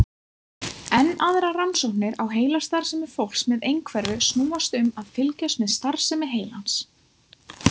Enn aðrar rannsóknir á heilastarfsemi fólks með einhverfu snúast um að fylgjast með starfsemi heilans.